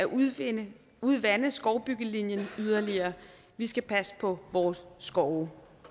udvande udvande skovbyggelinjen yderligere vi skal passe på vores skove